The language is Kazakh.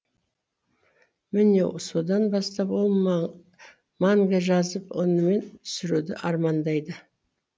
міне содан бастап ол манга жазып онимен түсіруді армандайды